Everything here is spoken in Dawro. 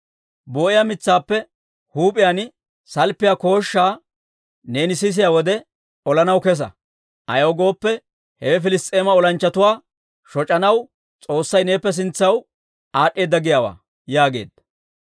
Boo'iyaa mitsaappe huup'iyaan salppiyaa kooshshaa neeni sisiyaa wode, olanaw kesa. Ayaw gooppe, hewe Piliss's'eema olanchchatuwaa shoc'anaw S'oossay neeppe sintsaw aad'd'eedda giyaawaa» yaageedda.